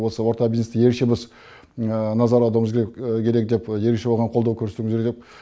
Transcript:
осы орта бизнесті ерекше біз назар аударуымыз керек деп ерекше оған қолдау көрсетуіміз керек деп